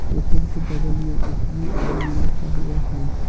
के बगल में एस_बी_आई भी लिखा हुआ है।